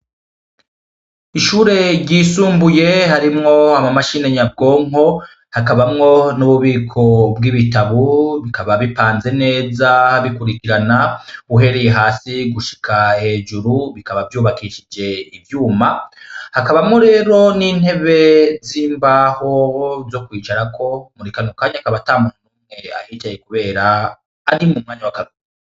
Ishure ryisumbuye harimwo ama mashine nyabwonko hakabamwo n'ububiko bw'ibitabu bikaba bipanze neza bikurikirana uhereye hasi gushika hejuru, bikaba vyubakishije ivyuma hakabamwo rero n'intebe z'imbaho zo kwicarako muri kano kanya hakaba ata muntu numwe ahicaye kubera ari mu mwanya wa kagura.